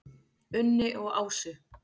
Unni og Ásu.